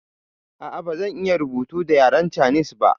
Ah ah bazan iya rubutu da yaren canis ba